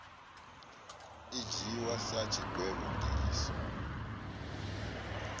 i dzhiiwi sa tshigwevho ndiliso